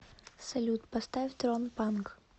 салют поставь трон панк